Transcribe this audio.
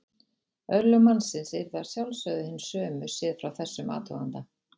Örlög mannsins yrðu að sjálfsögðu hin sömu séð frá þessum athuganda.